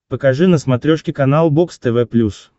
покажи на смотрешке канал бокс тв плюс